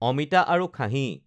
অমিতা আৰু খাহী